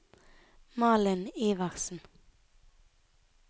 Malin Iversen